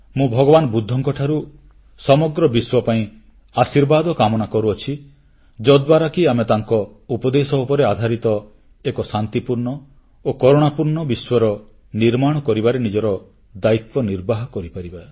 ମୁଁ ଭଗବାନ ବୁଦ୍ଧଙ୍କଠାରୁ ସମଗ୍ର ବିଶ୍ୱ ପାଇଁ ଆଶୀର୍ବାଦ କାମନା କରୁଅଛି ଯଦ୍ୱାରା କି ଆମେ ତାଙ୍କ ଉପଦେଶ ଉପରେ ଆଧାରିତ ଏକ ଶାନ୍ତିପୂର୍ଣ୍ଣ ଓ କରୁଣାପୂର୍ଣ୍ଣ ବିଶ୍ୱର ନିର୍ମାଣ କରିବାରେ ନିଜର ଦାୟିତ୍ୱ ନିର୍ବାହ କରିପାରିବା